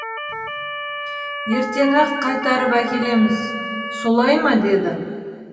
ертең ақ қайтарып әкелеміз солай ма деді